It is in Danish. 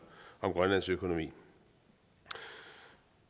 grønlands økonomi